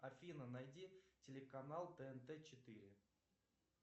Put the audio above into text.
афина найди телеканал тнт четыре